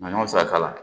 Na saka la